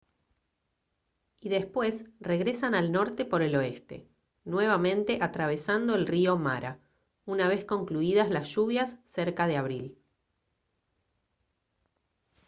y después regresan al norte por el oeste nuevamente atravesando el río mara una vez concluidas las lluvias cerca de abril